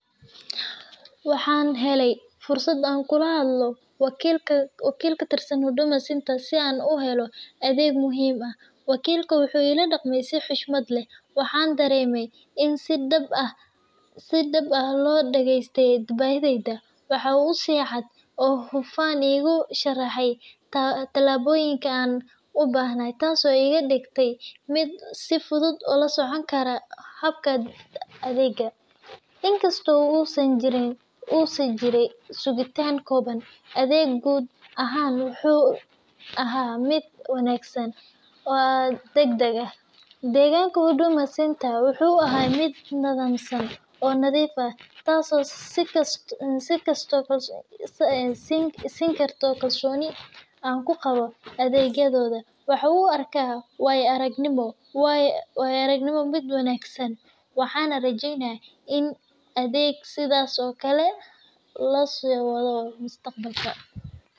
Waxaan helay fursad aan kula hadlo wakiil ka tirsan Huduma Center si aan u helo adeeg muhiim ah. Wakiilka wuxuu iila dhaqmay si xushmad leh, waxaana dareemay in si dhab ah loo dhageystay baahidayda. Waxa uu si cad oo hufan iigu sharxay tallaabooyinka aan u baahnaa, taas oo iga dhigtay mid si fudud ula socon kara habka adeegga. Inkasta oo uu jiray sugitaan kooban, adeegga guud ahaan wuxuu ahaa mid wanaagsan oo degdeg ah. Deegaanka Huduma Center wuxuu ahaa mid nidaamsan oo nadiif ah, taasoo sii kordhisay kalsoonida aan ku qabo adeeggooda. Waxaan u arkaa waayo-aragnimadan mid wanaagsan, waxaana rajeynayaa in adeegga sidaas oo kale loo sii wado mustaqbalka.